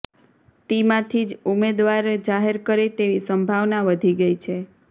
તિમાંથી જ ઉમેદવાર જાહેર કરે તેવી સંભાવના વધી ગઇ છે